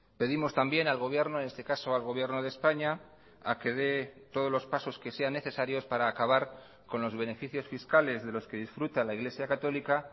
pedimos también al gobierno en este caso al gobierno de españa a que dé todos los pasos que sean necesarios para acabar con los beneficios fiscales de los que disfruta la iglesia católica